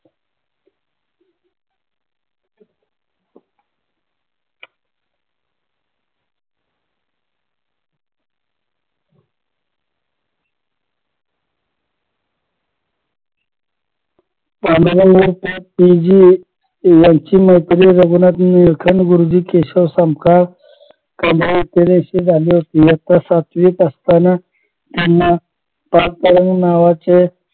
P G यांची मैत्री रघुनाथ नीलकंठ गुरुजी केशव संकपाळ यांच्याशी झाली होती इयत्ता सातवीत असताना त्यांना नावाच्या